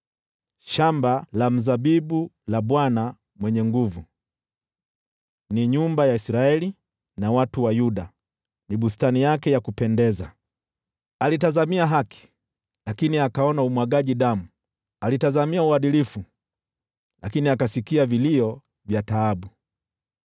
Shamba la mzabibu la Bwana Mwenye Nguvu Zote ni nyumba ya Israeli, na watu wa Yuda ni bustani yake ya kumpendeza. Alitazamia haki, lakini akaona umwagaji damu, alitazamia uadilifu, lakini akasikia vilio vya taabu.